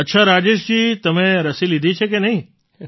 અચ્છા રાજેશજી તમે રસી લીધી છે કે નહીં